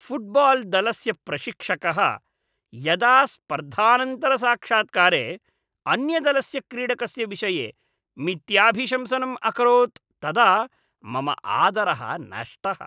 फ़ुट्बाल्दलस्य प्रशिक्षकः यदा स्पर्धानन्तरसाक्षात्कारे अन्यदलस्य क्रीडकस्य विषये मिथ्याभिशंसनम् अकरोत् तदा मम आदरः नष्टः।